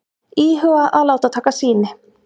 Íhuga að láta taka sýni